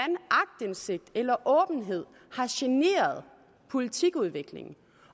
eneste eller åbenhed har generet politikudviklingen